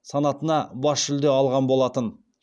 санатына бас жүлде алған болатын